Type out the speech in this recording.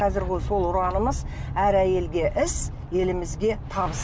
қазіргі сол ұранымыз әр әйелге іс елімізге табыс